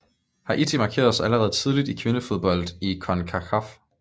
Haiti markerede sig allerede tidligt i kvindefodbold i CONCACAF